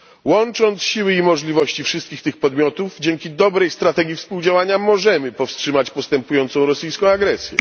Łącząc siły i możliwości wszystkich tych podmiotów, dzięki dobrej strategii współdziałania, możemy powstrzymać postępującą rosyjską agresję.